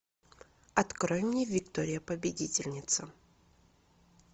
открой мне виктория победительница